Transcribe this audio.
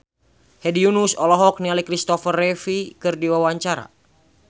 Hedi Yunus olohok ningali Kristopher Reeve keur diwawancara